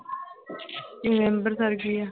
ਤੇ ਅੰਬਰਸਰ ਕੀ ਆ